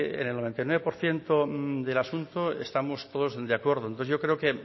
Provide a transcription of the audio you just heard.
en el noventa y nueve por ciento del asunto estamos todos de acuerdo entonces yo creo que